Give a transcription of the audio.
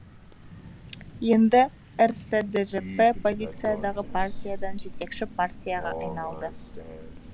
енді рсджп оппозициядағы партиядан жетекші партияға айналды